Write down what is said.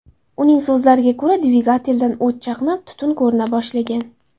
Uning so‘zlariga ko‘ra, dvigateldan o‘t chaqnab, tutun ko‘rina boshlagan.